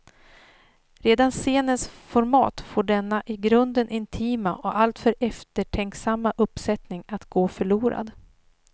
Redan scenens format får denna i grunden intima och alltför eftertänksamma uppsättning att gå förlorad.